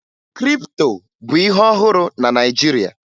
Kripto bụ ihe ọhụrụ na Naịjirịa